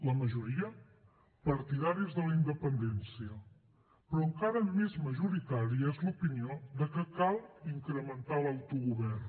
la majoria partidaris de la independència però encara més majoritària és l’opinió de que cal incrementar l’autogovern